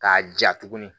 K'a ja tuguni